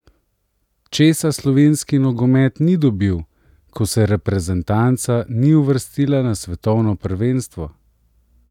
Česa slovenski nogomet ni dobil, ko se reprezentanca ni uvrstila na svetovno prvenstvo?